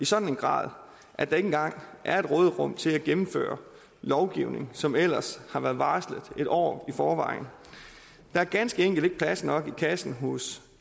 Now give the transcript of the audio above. sådan grad at der ikke engang er et råderum til at gennemføre lovgivning som ellers har været varslet et år i forvejen der er ganske enkelt ikke plads nok i kassen hos